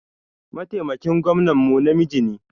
Mataimakin gwamnan mu namiji ne.